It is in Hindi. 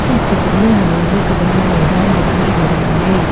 इस चित्र में हमें एक बड़ा मैदान दिखाई दे रहा है।